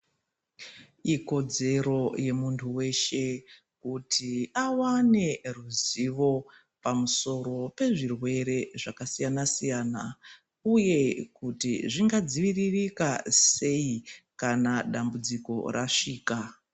Ikodzero yemunhu weshe kuti awane ruzivo pamusoro pezvirwere zvakasiyanasiyana uye kuti zvingadziviririke sei kana dambudziko rasvika.